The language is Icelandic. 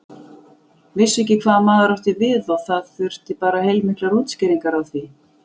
Vissu ekki hvað maður átti við og það þurfti bara heilmiklar útskýringar á því.